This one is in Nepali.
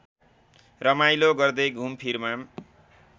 रमाइलो गर्दै घुमफिरमा